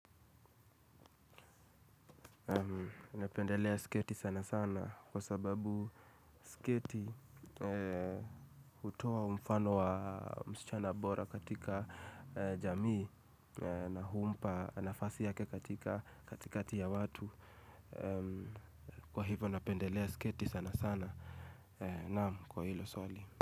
Napendelea sketi sana sana kwa sababu sketi hutoa umfano wa msichana bora katika jamii na humpa nafasi yake katika katikati ya watu. Kwa hivo napendelea sketi sana sana naam kwa hilo swali.